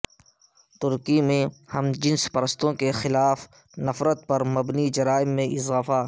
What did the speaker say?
ترکی میں ہم جنس پرستوں کے خلاف نفرت پر مبنی جرائم میں اضافہ